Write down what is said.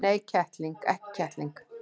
Nei, ekki kettling.